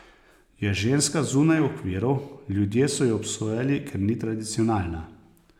Je ženska zunaj okvirov, ljudje so jo obsojali, ker ni tradicionalna.